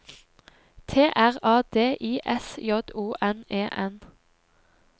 T R A D I S J O N E N